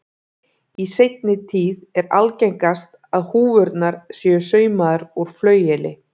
Í seinni tíð er algengast að húfurnar séu saumaðar úr flaueli.